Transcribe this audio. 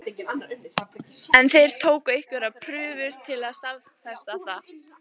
En þeir tóku einhverjar prufur til að staðfesta það.